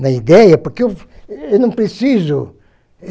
na ideia, porque eu eu não preciso.